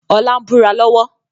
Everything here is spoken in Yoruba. Ọlá ń búra lọ́wọ́